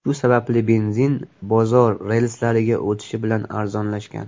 Shu sababli benzin bozor relslariga o‘tishi bilan arzonlashgan.